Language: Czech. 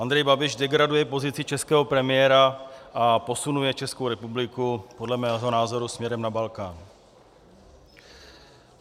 Andrej Babiš degraduje pozici českého premiéra a posunuje Českou republiku podle mého názoru směrem na Balkán.